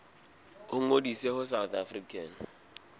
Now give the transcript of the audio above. ba ngodise ho south african